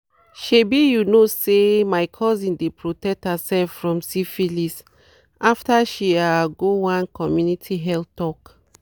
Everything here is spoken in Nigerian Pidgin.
shebi you know say my cousin dey protect herself from syphilis after she ah go one community health talk."